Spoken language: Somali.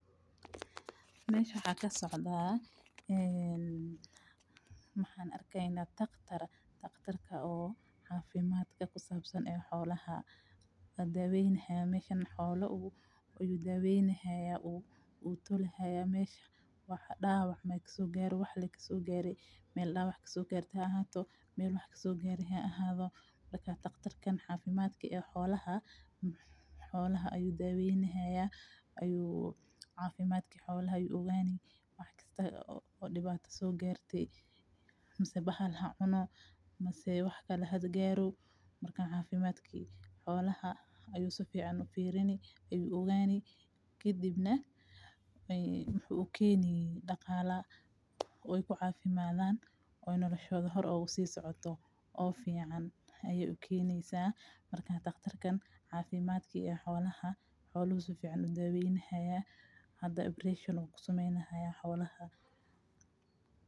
Mesha waxa kasocdaa een maxa arkayna daktaar. Daktaar oo cafimatka kusabsaan xoolaha ee dawaynahaya meshan xoolo oo dawaeynahay oo tolihayo meshan wax dawac maa kaso gare ama wax lee kaso gare. Meel dawac kasogarte haa ahato meel wax kasogare haa ahato marka daktarkan cafimaadka ee xoolaha. Xoolaha ayo dawaeynahaya ayu cafimadka xoolaha ayu ogaani wax kasta ee dibaato soo garte mise bahaal haa cuno mise wax kale haa gaaro marka cafimtki xoolaha ayu saficaan u firini ayu ogaani kadibna uu keeni dagaala waye ku cafimadhaan nolashodha hoor ugu si socoto oo ficaan aya ukeynaysa marka daktarkan cafimadka xoolaha, xoolaha safican udaweynaya hada operation ayu kusamenaya xoolaha.